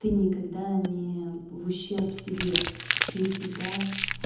ты никогда не в ущерб себе ты всегда